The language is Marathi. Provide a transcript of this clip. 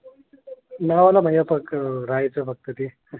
रहायचं फक्त ते.